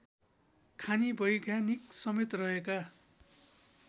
खानी वैज्ञानिकसमेत रहेका